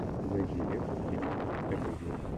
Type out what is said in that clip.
найди ленту в стилистике комедия